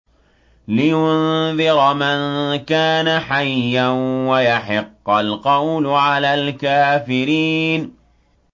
لِّيُنذِرَ مَن كَانَ حَيًّا وَيَحِقَّ الْقَوْلُ عَلَى الْكَافِرِينَ